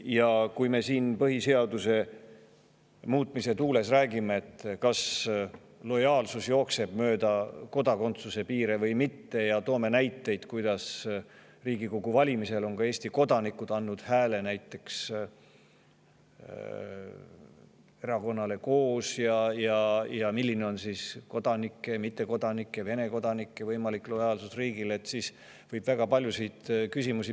Ja kui me põhiseaduse muutmise tuules räägime sellest, kas lojaalsus jookseb mööda kodakondsuse piire või mitte, ja toome näiteid selle kohta, kuidas Riigikogu valimistel on ka Eesti kodanikud andnud hääle näiteks erakonnale KOOS, ja milline on kodanike, mittekodanike ja Vene kodanike võimalik lojaalsus riigile, siis võib püstitada väga paljusid küsimusi.